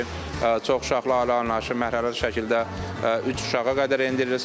çoxuşaqlı ailə anlayışı mərhələli şəkildə üç uşağa qədər endirilsin.